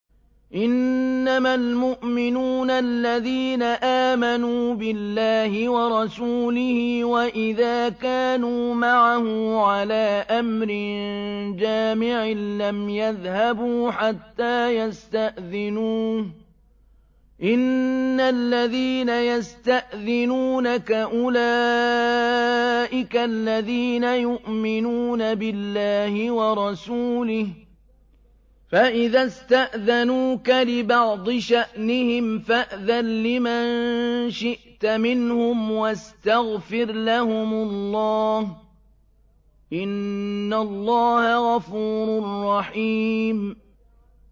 إِنَّمَا الْمُؤْمِنُونَ الَّذِينَ آمَنُوا بِاللَّهِ وَرَسُولِهِ وَإِذَا كَانُوا مَعَهُ عَلَىٰ أَمْرٍ جَامِعٍ لَّمْ يَذْهَبُوا حَتَّىٰ يَسْتَأْذِنُوهُ ۚ إِنَّ الَّذِينَ يَسْتَأْذِنُونَكَ أُولَٰئِكَ الَّذِينَ يُؤْمِنُونَ بِاللَّهِ وَرَسُولِهِ ۚ فَإِذَا اسْتَأْذَنُوكَ لِبَعْضِ شَأْنِهِمْ فَأْذَن لِّمَن شِئْتَ مِنْهُمْ وَاسْتَغْفِرْ لَهُمُ اللَّهَ ۚ إِنَّ اللَّهَ غَفُورٌ رَّحِيمٌ